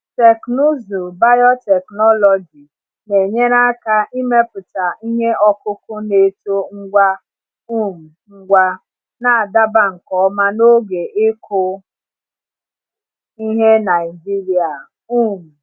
Teknụzụ biotechnology na-enyere aka imepụta ihe ọkụkụ na-eto ngwa um ngwa, na-adaba nke ọma na oge ịkụ ihe Naijiria. um